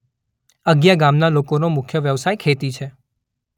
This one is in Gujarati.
અગિયા ગામના લોકોનો મુખ્ય વ્યવસાય ખેતી છે.